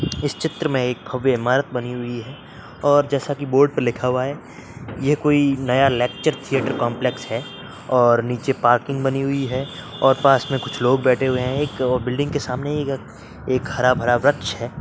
इस चित्र में एक भव्य ईमारत बनी हुई है और जैसा की बोर्ड पर लिखा हुआ है ये कोई नया लेक्चर थीयेटर कॉम्प्लेक्स है और नीचे पार्किंग बनी हुई है और पास में कुछ लोग बैठे हुए हैं। एक बिल्डिंग के सामने ई एक हरा-भरा वृक्ष है।